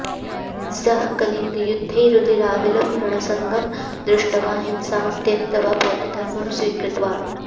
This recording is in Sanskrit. सः कलिङ्गयुद्धे रुधिराविलं रणरङ्गं दृष्ट्वा हिंसां त्यक्त्वा बौद्धधर्मं स्वीकृतवान्